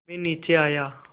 मैं नीचे आया